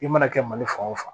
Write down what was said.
I mana kɛ mali fan o fan